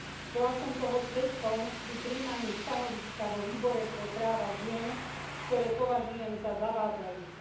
Bola som toho svedkom pri prijímaní stanoviska vo Výbore pre práva žien, ktoré považujem za zavádzajúce.